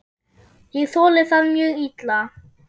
Ég þoli það mjög illa.